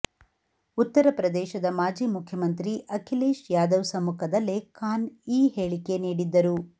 ಉತ್ತರ ಪ್ರದೇಶದ ಮಾಜಿ ಮುಖ್ಯಮಂತ್ರಿ ಅಖಿಲೇಶ್ ಯಾದವ್ ಸಮ್ಮುಖದಲ್ಲೇ ಖಾನ್ ಈ ಹೇಳಿಕೆ ನೀಡಿದ್ದರು